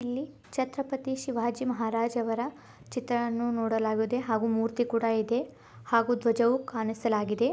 ಇಲ್ಲಿ ಚತ್ರಪತಿ ಶಿವಾಜಿ ಮಹಾರಾಜವರ ಚಿತ್ರಾನೂ ನೋಡಲಾಗಿದೆ ಹಾಗು ಮೂರ್ತಿ ಕೊಡ ಇದೆ । ಹಾಗು ದ್ವಜವು ಕಾಣಿಸಲಾಗಿದೆ .